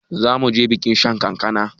Zamuje bikin shan kankana